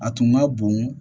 A tun ma bon